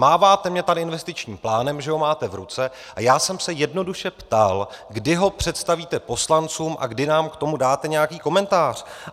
Máváte mně tady investičním plánem, že ho máte v ruce, a já jsem se jednoduše ptal, kdy ho představíte poslancům a kdy nám k tomu dáte nějaký komentář.